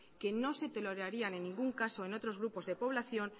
que no se tolerarían en ningún caso en otros grupos de población